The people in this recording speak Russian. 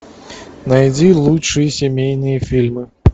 найди лучшие семейные фильмы